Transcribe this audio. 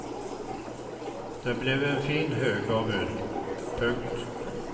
Det blev en fin hög av ull. punkt